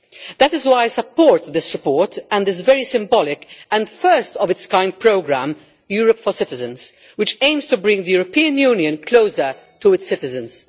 That is why I support this report and its very symbolic and the first of its kind programme, Europe for Citizens, which aims to bring the European Union closer to its citizens.